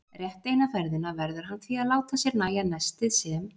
Rétt eina ferðina verður hann því að láta sér nægja nestið sem